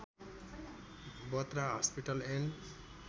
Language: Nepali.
Batra hospital and